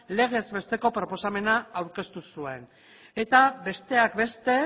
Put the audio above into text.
legez besteko proposamena aurkeztu zuen eta besteak beste